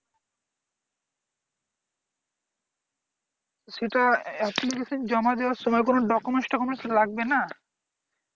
সেটা application জমা দেওয়ার সময় কোন documents টকুমেন্টস লাগবে না?